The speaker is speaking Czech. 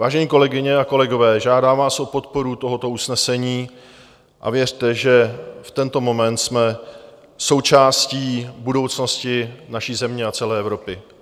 Vážené kolegyně a kolegové, žádám vás o podporu tohoto usnesení a věřte, že v tento moment jsme součástí budoucnosti naší země a celé Evropy.